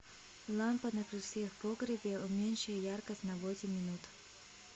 лампа на крыльце в погребе уменьши яркость на восемь минут